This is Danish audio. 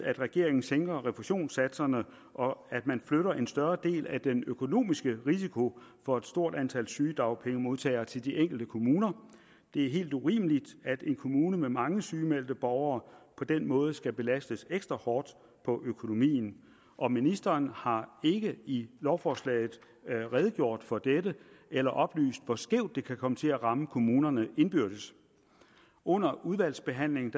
at regeringen sænker refusionssatserne og flytter en større del af den økonomiske risiko for et stort antal sygedagpengemodtagere til de enkelte kommuner det er helt urimeligt at en kommune med mange sygemeldte borgere på den måde skal belastes ekstra hårdt på økonomien og ministeren har ikke i lovforslaget redegjort for dette eller oplyst hvor skævt det kan komme til at ramme kommunerne indbyrdes under udvalgsbehandlingen